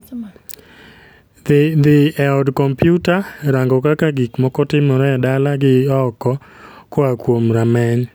Dhi e od kompyuta, rango kaka gik moko timore e dala gi oko koa kuom rameny